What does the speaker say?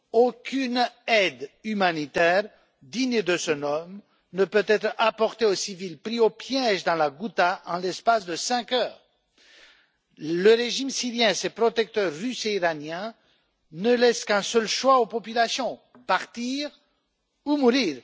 Aucune aide humanitaire digne de ce nom ne peut être apportée aux civils pris au piège dans la Ghouta en l'espace de cinq heures. Le régime syrien et ses protecteurs russe et iranien ne laissent qu'un seul choix aux populations partir ou mourir.